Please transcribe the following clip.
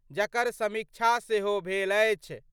जकर समीक्षा सेहो भेल अछि।